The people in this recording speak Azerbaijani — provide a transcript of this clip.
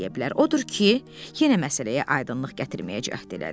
Odur ki, yenə məsələyə aydınlıq gətirməyə cəhd elədi.